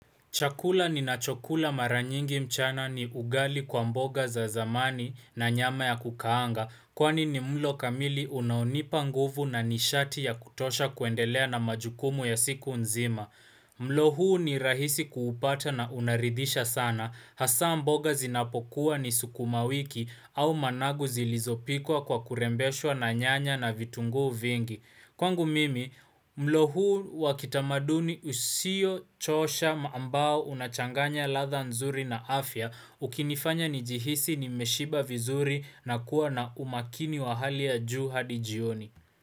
Chakula ni nachokula mara nyingi mchana ni ugali kwa mboga za zamani na nyama ya kukaanga Kwani ni mlo kamili unaonipa nguvu na nishati ya kutosha kuendelea na majukumu ya siku nzima mlo huu ni rahisi kuupata na unaridisha sana Hasa mboga zinapokuwa ni sukuma wiki au managu zilizopikwa kwa kurembeswa na nyanya na vitungu vingi Kwangu mimi, mlo huu wakitamaduni usio choosha mambao unachanganya latha nzuri na afya ukinifanya njihisi ni meshiba vizuri na kuwa na umakini wa hali ya juu hadi jioni.